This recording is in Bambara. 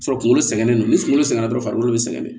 Sɔrɔ kunkolo sɛgɛnnen don ni kunkolo sɛgɛn na dɔrɔn farikolo be sɛgɛn